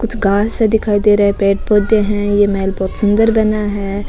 कुछ घासे दिखाई दे रहे है पेड़ पौधे है ये महल बहोत सुन्दर बना है।